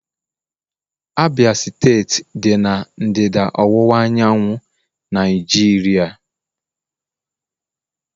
Abia steeti dị na ndịda ọwụwa anyanwụ Naijiria.